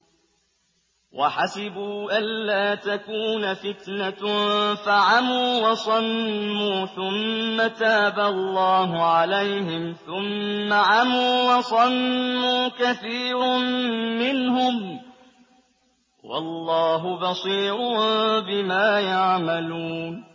وَحَسِبُوا أَلَّا تَكُونَ فِتْنَةٌ فَعَمُوا وَصَمُّوا ثُمَّ تَابَ اللَّهُ عَلَيْهِمْ ثُمَّ عَمُوا وَصَمُّوا كَثِيرٌ مِّنْهُمْ ۚ وَاللَّهُ بَصِيرٌ بِمَا يَعْمَلُونَ